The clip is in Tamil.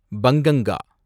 பங்கங்கா